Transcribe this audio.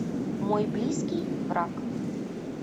мой близкий враг